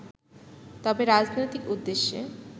তবে, রাজনৈতিক উদ্দেশ্যে